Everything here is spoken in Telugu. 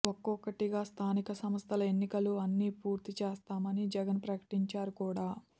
ఒక్కొక్కటిగా స్ఖానిక సంస్థల ఎన్నికలు అన్నీ పూర్తి చేస్తామని జగన్ ప్రకటించారు కూడా